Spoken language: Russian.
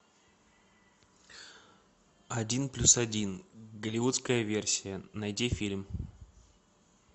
один плюс один голливудская версия найди фильм